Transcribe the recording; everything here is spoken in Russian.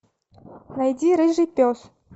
найди рыжий пес